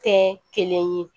Tɛ kelen ye